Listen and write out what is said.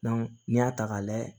n'i y'a ta k'a layɛ